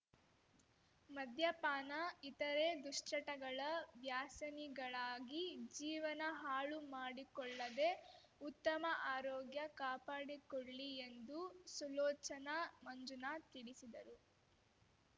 ಮದ್ಯಪಾನ ಇತರೇ ದುಶ್ಚಟಗಳ ವ್ಯಾಸನಿಗಳಾಗಿ ಜೀವನ ಹಾಳುಮಾಡಿಕೊಳ್ಳದೇ ಉತ್ತಮ ಆರೋಗ್ಯ ಕಾಪಾಡಿಕೊಳ್ಳಿ ಎಂದು ಸುಲೋಚನಾ ಮಂಜುನಾ ತಿಳಿಸಿದರು